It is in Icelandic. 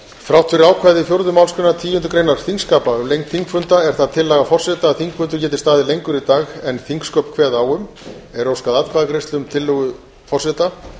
þrátt fyrir ákvæði fjórðu málsgreinar tíundu greinar þingskapa um lengd þingfunda er það tillaga forseta að þingfundur geti staðið lengur í dag en þingsköp kveða á um er óskað atkvæðagreiðslu um tillögu forseta